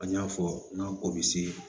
An y'a fɔ n'an ko bi se